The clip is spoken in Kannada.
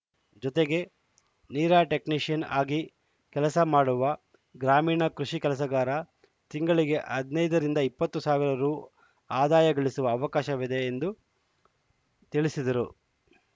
ಜೊತೆಗೆ ನೀರಾ ಟೆಕ್ನಿಷಿಯನ್‌ ಆಗಿ ಕೆಲಸ ಮಾಡುವ ಗ್ರಾಮೀಣ ಕೃಷಿ ಕೆಲಸಗಾರ ತಿಂಗಳಿಗೆ ಹದಿನೈದ ರಿಂದ ಇಪ್ಪತ್ತು ಸಾವಿರ ರು ಅದಾಯ ಗಳಿಸುವ ಅವಕಾಶವಿದೆ ಎಂದು ತಿಳಿಸಿದರು